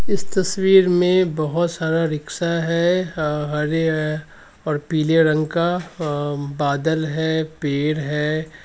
इस तस्वीर मे बोहोत सारा रिक्शा हरे है और पीले रंग का | अ बादल है पेड़ है ।